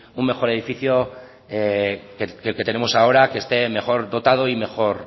un mejor edificio que el que tenemos ahora que esté en mejor dotado y mejor